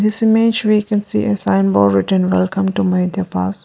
This image we can see a sign board written welcome to mayudia pass.